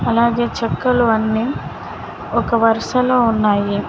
అలాగే చెక్కలు అన్ని ఒక వరుసలో ఉన్నాయి.